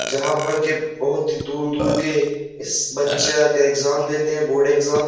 जहाँ पर के बहुत ही दूर-दूर के इस बच्चे एग्जाम देते हैं बोर्ड एग्जाम ।